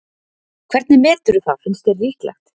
Hvernig meturðu það, finnst þér líklegt?